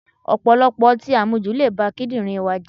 Ọ̀pọ̀lọpọ̀ ọtí àmujù le ba kídírìn wa jẹ́.